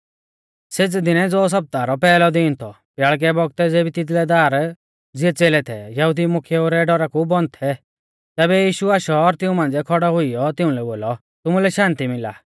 सेज़ै दिनै ज़ो सप्ताह रौ पैहलौ दीन थौ ब्याल़कै बौगतै ज़ेबी तिदलै दार ज़िऐ च़ेलै थै यहुदी मुख्येऊ रै डौरा कु बन्द थै तैबै यीशु आशौ और तिऊं मांझ़िऐ खौड़ौ हुइयौ तिउंलै बोलौ तुमुलै शान्ति मिला